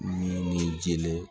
Min ye jeli ye